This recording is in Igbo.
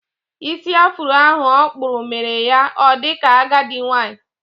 Ísì afuro ahụ okpúrụ, mere ya o dika agadi nwanyị